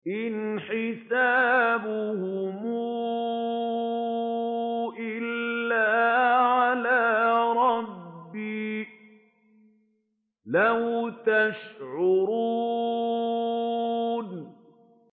إِنْ حِسَابُهُمْ إِلَّا عَلَىٰ رَبِّي ۖ لَوْ تَشْعُرُونَ